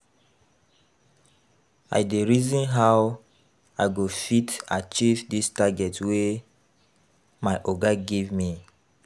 I dey reason how I go fit achieve dis target wey my oga give me.